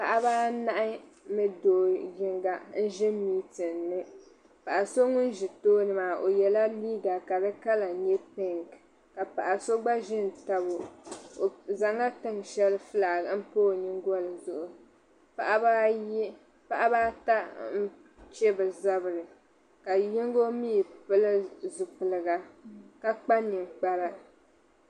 paɣiba anahi ni do' yiŋga n-ʒi mintin ni paɣa so ŋun tooni maa o yɛla ka di kala nyɛ piŋki ka paɣa so gba ʒi n-tabi o o zaŋla tiŋa shɛli fulaaki m-pa o nyingoli zuɣu paɣiba ata n-che bɛ zabiri ka yiŋga mi pili zipiligu ka kpa ninkpara